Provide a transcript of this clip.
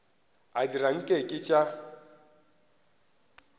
a dira nke ke tša